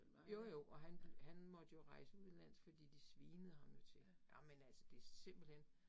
Jo jo, og han han måtte jo rejse udenlands fordi de svinede ham jo til. Ej men altså det simpelthen